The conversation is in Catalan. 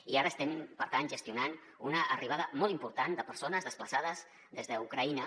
i ara es·tem per tant gestionant una arribada molt important de persones desplaçades des d’ucraïna